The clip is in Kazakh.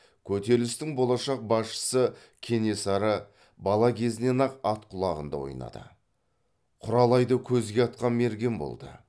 көтерілістің болашақ басшысы кенесары бала кезінен ақ ат құлағында ойнады құралайды көзге атқан мерген болды